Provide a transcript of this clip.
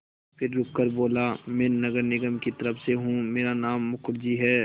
फिर रुककर बोला मैं नगर निगम की तरफ़ से हूँ मेरा नाम मुखर्जी है